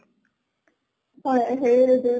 তাই হেৰি